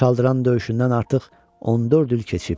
Çaldıran döyüşündən artıq 14 il keçib.